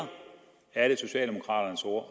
er det socialdemokraternes